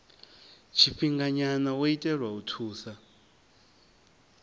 tshifhinganya wo itelwa u thusa